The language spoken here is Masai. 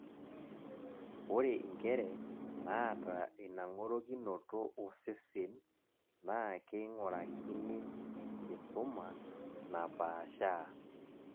ore inkere naata ina ngorokinoto osesen naa keingurakini enkisuma napaashaa